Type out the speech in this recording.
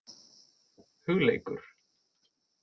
Hugleikur